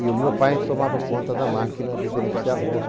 E o meu pai tomava conta da máquina de beneficiar arroz.